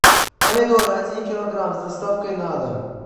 помидоры один килограмм с доставкой на дом